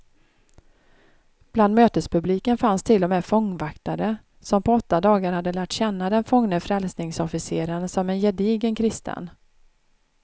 Bland mötespubliken fanns till och med fångvaktare, som på åtta dagar hade lärt känna den fångne frälsningsofficeren som en gedigen kristen.